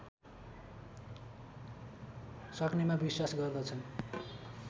सक्नेमा विश्वास गर्दछन